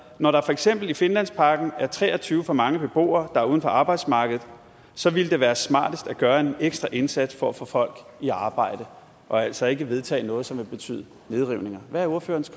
når der for eksempel i finlandsparken er tre og tyve for mange beboere der er uden for arbejdsmarkedet så ville det være smartest at gøre en ekstra indsats for at få folk i arbejde og altså ikke vedtage noget som vil betyde nedrivninger hvad er ordførerens